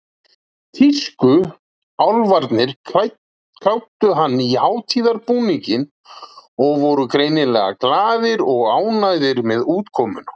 Tískuálfarnir kláddu hann í hátíðarbúninginn og voru greinilega glaðir og ánægðir með útkomuna.